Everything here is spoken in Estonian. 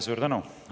Suur tänu!